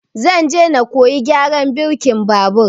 Zan je na koyi gyaran birkin babur